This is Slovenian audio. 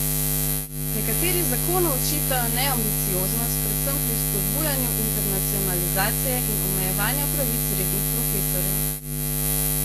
Nekateri zakonu očitajo neambicioznost, predvsem pri spodbujanju internacionalizacije in omejevanja pravic rednih profesorjev.